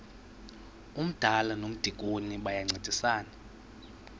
umdala nomdikoni bayancedisana